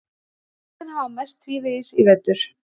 Liðin hafa mæst tvívegis í vetur